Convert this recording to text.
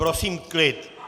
Prosím klid.